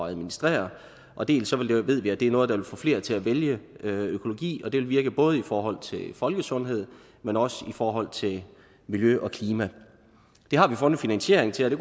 at administrere og dels ved vi at det er noget der vil få flere til at vælge økologi og det vil virke både forhold til folkesundhed men også i forhold til miljø og klima det har vi fundet finansiering til og det